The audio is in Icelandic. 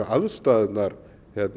aðstæðurnar